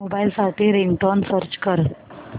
mobile साठी ringtone search कर